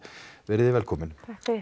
velkomin